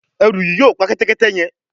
Eru yí yóò pá Kẹ́tẹ́kẹ́tẹ́ yén.